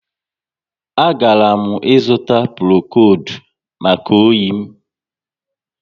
A garam ịzụta Prokodu maka oyi m